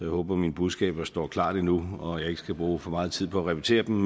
håber at mine budskaber står klart endnu og at jeg ikke skal bruge for meget tid på at repetere dem